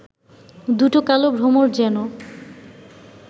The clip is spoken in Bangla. দুটো কালো ভ্রমর যেন